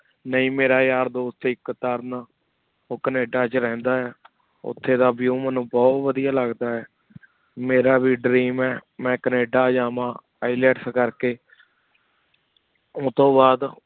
ਨੀ ਮੇਰਾ ਯਾਰ ਦੋਸਤ ਏਕ ਤਾਰਨ ਓ ਕੈਨੇਡਾ ਚ ਰਹੰਦਾ ਵਾ ਉਠੀ ਦਾ view ਮੇਨੂ ਬੁਹਤ ਵਾਦੇਯਾ ਲਗਦਾ ਵਾ ਮੇਰਾ ਵੇ dream ਆਯ ਮੈਂ ਕੇਨ੍ਦ ਜਾਵਣ Ilets ਕਰ ਕੀ ਓਤੁਨ ਬਾਦ